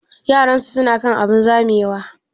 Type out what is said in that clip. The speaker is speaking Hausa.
Yaran su na kan abun zamewa?